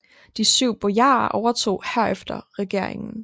De Syv Bojarer overtog herefter regeringen